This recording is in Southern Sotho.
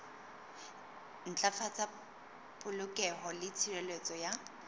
ntlafatsa polokeho le tshireletso ya